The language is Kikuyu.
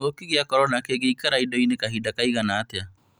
Kĩng'uki gĩa korona kĩngĩikara indo-inĩ kahinda kaigana atĩa?